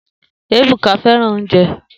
Ebuka fẹran ounjẹ